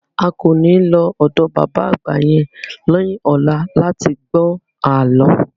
A kò ní lọ ọ̀dọ bàbá àgbà yẹn ní ọ̀la láti gbọ́ àlọ́